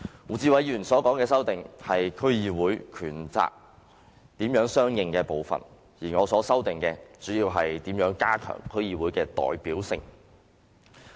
胡志偉議員所提出的修正案是區議會權責如何相對應的部分，而我提出的修正案，主要是如何加強區議會的代表性。